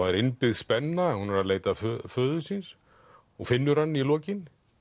er innbyggð spenna hún er að leita föður síns og finnur hann í lokin